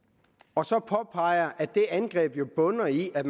og så påpeger at det angreb jo bunder i at